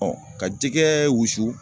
ka jɛgɛɛ wusu